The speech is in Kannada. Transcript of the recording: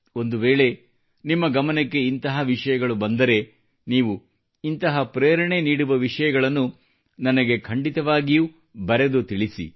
ಒಂದುವೇಳೆ ನಿಮ್ಮ ಗಮನಕ್ಕೆ ಇಂತಹ ವಿಷಯಗಳು ಬಂದರೆ ನೀವು ಇಂತಹ ಪ್ರೇರಣೆ ನೀಡುವ ವಿಷಯಗಳನ್ನು ನನಗೆ ಖಂಡಿತವಾಗಿಯೂ ಬರೆದು ತಿಳಿಸಿ